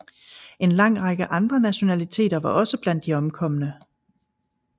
En lang række andre nationaliteter var også blandt de omkomne